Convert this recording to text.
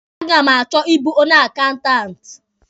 A ga m achọ ịbụ onye akaụntanti.